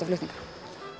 flutninga